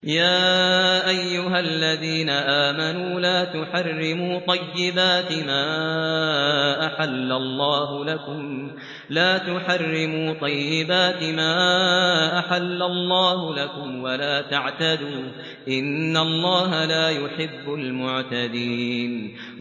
يَا أَيُّهَا الَّذِينَ آمَنُوا لَا تُحَرِّمُوا طَيِّبَاتِ مَا أَحَلَّ اللَّهُ لَكُمْ وَلَا تَعْتَدُوا ۚ إِنَّ اللَّهَ لَا يُحِبُّ الْمُعْتَدِينَ